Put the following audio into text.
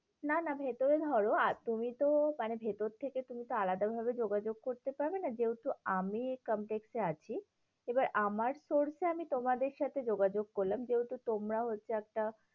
না না ভেতরে ধরো, আর তুমিতো মানে ভেতর থেকে তুমিতো আলাদা ভাবে যোগাযোগ করতে পারবে না, যেহেতু আমি এই complex এ আছি, এবার আমার source এ আমি তোমাদের সাথে যোগাযোগ করলাম, যেহেতু তোমরাও হচ্ছে একটা